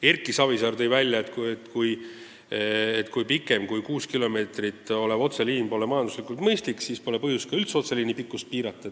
Erki Savisaar tõi välja, et pikem kui kuus kilomeetrit otseliin pole majanduslikult mõistlik ja nii pole põhjust üldse otseliini pikkust piirata.